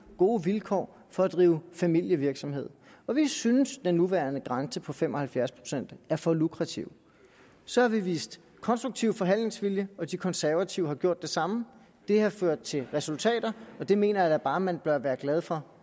gode vilkår for at drive familievirksomhed og vi synes at den nuværende grænse på fem og halvfjerds procent er for lukrativ så har vi vist konstruktiv forhandlingsvilje og de konservative har gjort det samme og det har ført til resultater og det mener jeg da bare man bør være glad for